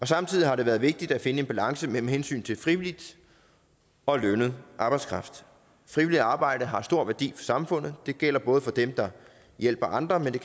samtidig har det været vigtigt at finde en balance mellem hensynet til frivillig og lønnet arbejdskraft frivilligt arbejde har stor værdi samfundet det gælder både for dem der hjælper andre men